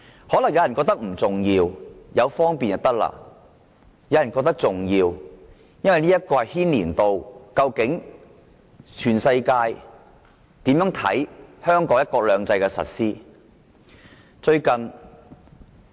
可能有人覺得不重要，便捷就可以，但有人則覺得事態嚴重，牽涉到究竟全世界如何看香港"一國兩制"的實施情況。